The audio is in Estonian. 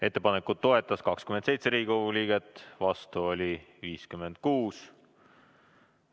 Ettepanekut toetas 27 Riigikogu liiget, vastu oli 56.